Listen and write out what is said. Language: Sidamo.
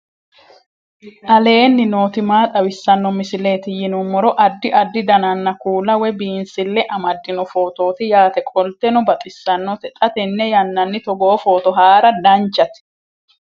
aleenni nooti maa xawisanno misileeti yinummoro addi addi dananna kuula woy biinsille amaddino footooti yaate qoltenno baxissannote xa tenne yannanni togoo footo haara danvchate